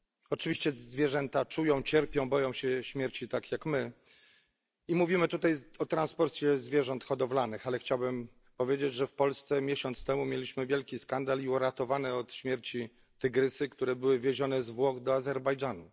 Oczywiście zwierzęta czują, cierpią, boją się śmierci tak jak my. I mówimy tutaj o transporcie zwierząt hodowlanych, ale chciałbym powiedzieć, że w Polsce miesiąc temu mieliśmy wielki skandal i uratowane od śmierci tygrysy, które były wiezione z Włoch do Azerbejdżanu.